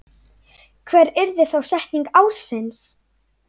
Hver yrði þá setning ársins?